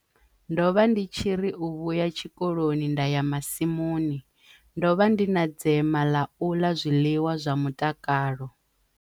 Ndo vha ndi tshi ri u vhuya tshikoloni nda ya masimuni. Ndo vha ndi na dzema ḽa u ḽa zwiḽiwa zwa mutakalo.